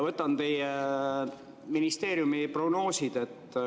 Võtan teie ministeeriumi prognoosid.